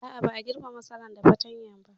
A'a, ba a girbe masara da fatanya ba.